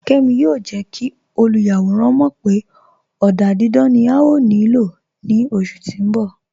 Kẹ́mi yóò jẹ́ kí olúyàwọ̀ràn mọ̀ pé ọ̀dà dídán ni à yóò ní ilò ní oṣù tí n bọ̀.